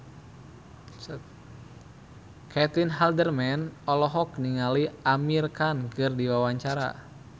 Caitlin Halderman olohok ningali Amir Khan keur diwawancara